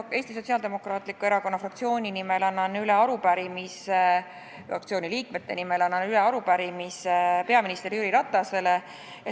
Annan Eesti Sotsiaaldemokraatliku Erakonna fraktsiooni nimel üle arupärimise peaminister Jüri Ratasele.